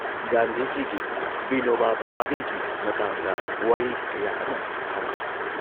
ꯒꯥꯟꯙꯤꯖꯤꯒꯤ, ꯕꯤꯅꯣꯕꯥ ꯚꯥꯕꯦꯒꯤ ꯃꯇꯥꯡꯗ ꯋꯥꯔꯤ ꯀꯌꯥ ꯑꯃ ꯁꯥꯟꯅꯔꯦ ꯫